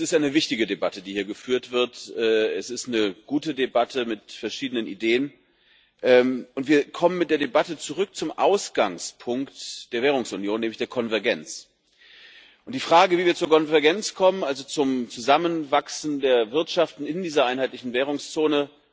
Es ist eine wichtige Debatte, die hier geführt wird. Es ist eine gute Debatte mit verschiedenen Ideen, und wir kommen mit der Debatte zurück zum Ausgangspunkt der Währungsunion, nämlich der Konvergenz, und zur Frage, wie wir zur Konvergenz kommen, also zum Zusammenwachsen der Wirtschaften in dieser einheitlichen Währungszone.